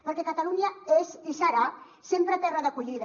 perquè catalunya és i serà sempre terra d’acollida